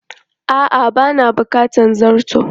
A'a ba na bukatar zarto.